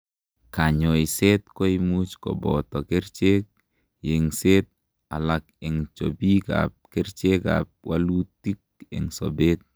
kanyoiset koimuch koboto kerichek, yengset ,alak en chobiik ab kerichek ak walutik en sobet